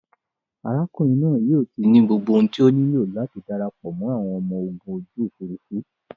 Arákùnrin naa yóò ti ní gbogbo ohun tí o nílò láti darapọ̀ mọ́ àwọn ọmọ ogun ojú òfurufú